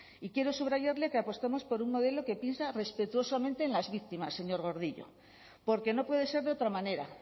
y quiero subrayarle que apostamos por un modelo que piensa respetuosamente en las víctimas señor gordillo porque no puede ser de otra manera